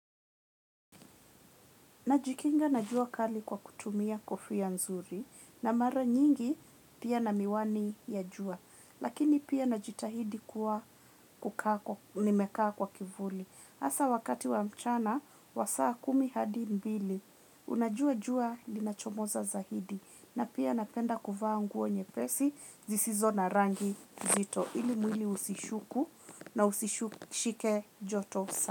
Najikinga na jua kali kwa kutumia kofia nzuri na mara nyingi pia na miwani ya jua. Lakini pia najitahidi kuwa kukaa nimekaa kwa kivuli. Hasa wakati wa mchana, wa saa kumi hadi mbili, unajua jua linachomoza zaidi. Na pia napenda kuvaa nguo nyepesi, zisizo na rangi nzito. Ili mwili usishuku na usishike joto sana.